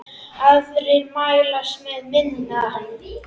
Aðrir mælast með minna.